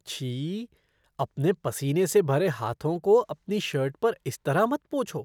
छी! अपने पसीने से भरे हाथों को अपनी शर्ट पर इस तरह मत पोछो।